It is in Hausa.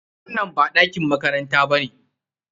Wannan ba ɗakin makaranta ba ne?